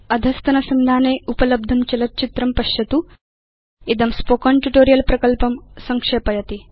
अधस्तनसंधाने उपलब्धं चलच्चित्रं पश्यतु httpspoken tutorialorgWhat is a Spoken Tutorial इदं स्पोकेन ट्यूटोरियल् प्रकल्पं संक्षेपयति